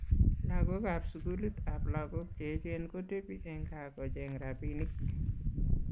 lagok ab skulit ab lagok che echen kotebi eng kaa kocheng rabinik